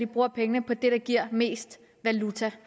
bruger pengene på det der giver mest valuta